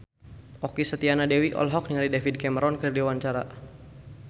Okky Setiana Dewi olohok ningali David Cameron keur diwawancara